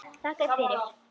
Þakka þér fyrir.